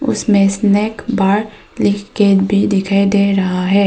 उसमें snack bar लिखके भी दिखाई दे रहा है।